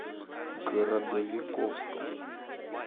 городовиковском